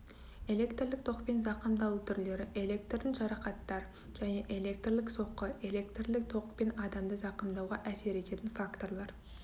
электрлік токпен зақымдалу түрлері электрдің жарақаттар және электрлік соққы электрлік токпен адамды зақымдауға әсер ететін факторлар